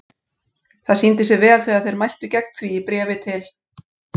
Það sýndi sig vel þegar þeir mæltu gegn því í bréfi til